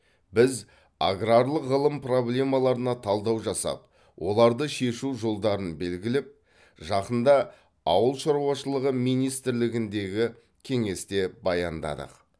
біз аграрлық ғылым проблемаларына талдау жасап оларды шешу жолдарын белгіліп жақында ауыл шаруашылығы министрлігіндегі кеңесте баяндадық